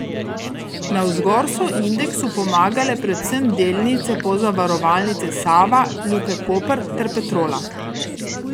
Navzgor so indeksu pomagale predvsem delnice Pozavarovalnice Sava, Luke Koper ter Petrola.